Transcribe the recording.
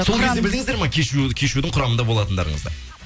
сол кезде білдіңіздер ма кешьюдің құрамында болатындарыңызды